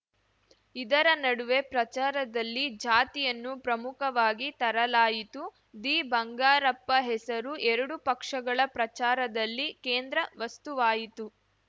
ಇದರ ನಡುವೆ ಪ್ರಚಾರದಲ್ಲಿ ಜಾತಿಯನ್ನು ಪ್ರಮುಖವಾಗಿ ತರಲಾಯಿತು ದಿ ಬಂಗಾರಪ್ಪ ಹೆಸರು ಎರಡೂ ಪಕ್ಷಗಳ ಪ್ರಚಾರದಲ್ಲಿ ಕೇಂದ್ರ ವಸ್ತುವಾಯಿತ್ತು